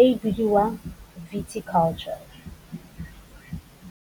e bidiwang viticulture.